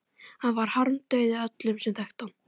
Hann varð harmdauði öllum sem þekktu hann.